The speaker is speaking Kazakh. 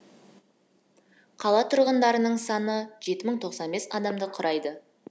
қала тұрғындарының саны адамды құрайды